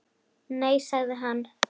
Nei sagði hann.